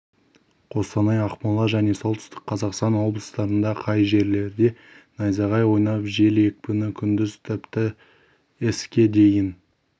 қостанай ақмола және солтүстік қазақстан облыстарында кей жерлерде найзағай ойнап жел екпіні күндіз тіпті с-ге дейін